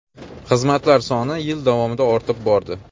Xizmatlar soni yil davomida ortib bordi.